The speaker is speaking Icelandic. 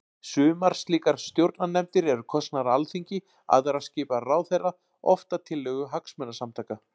Sumar slíkar stjórnarnefndir eru kosnar af Alþingi, aðrar skipaðar af ráðherra, oft að tillögu hagsmunasamtaka.